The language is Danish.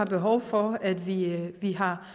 behov for at vi har